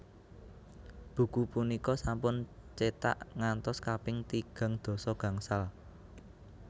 Buku punika sampun cetak ngantos kaping tigang dasa gangsal